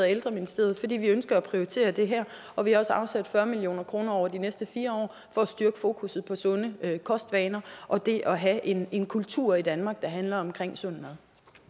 ældreministeriet fordi vi ønsker at prioritere det her og vi har også afsat fyrre million kroner over de næste fire år for at styrke fokus på sunde kostvaner og det at have en en kultur i danmark der handler om sund